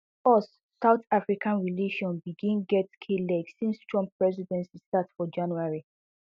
ussouth africa relation begin get kleg since trump presidency start for january